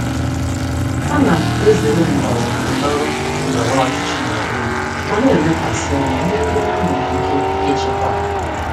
Ana m ezere ndọrọ ndọrọ ndọrọ ọchịchị n'onwe m ma na-elekwasị anya n'ihe m nwere ike ịchịkwa.